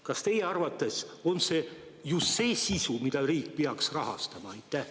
Kas teie arvates on see just see sisu, mida riik peaks rahastama?